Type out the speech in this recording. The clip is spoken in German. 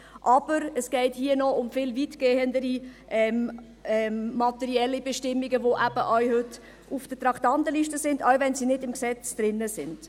Aber es geht hier um noch viel weitergehende materielle Bestimmungen, die heute eben ebenfalls auf der Traktandenliste stehen, auch wenn sie nicht im Gesetz sind.